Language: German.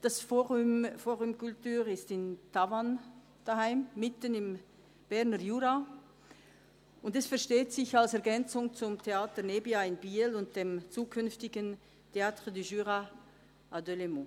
Das «fOrum culture» ist in Tavanne beheimatet, mitten im Berner Jura, und es versteht sich als Ergänzung zum Theater Nebia in Biel und dem zukünftigen «Théatre du Jura» in Delsberg.